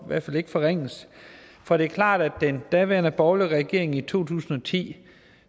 hvert fald ikke forringes for det er klart at den daværende borgerlige regering i to tusind og ti